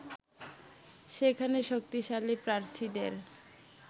সেখানে শক্তিশালী প্রার্থীদের